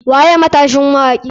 Waye matashin mawaki?